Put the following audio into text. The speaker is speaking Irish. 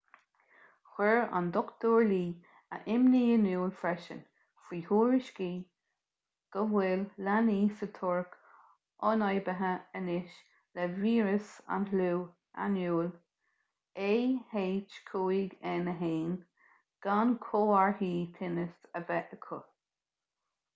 chuir dr. lee a imní in iúl freisin faoi thuairiscí go bhfuil leanaí sa tuirc ionfhabhtaithe anois le víreas an fhliú éanúil ah5n1 gan comharthaí tinnis a bheith acu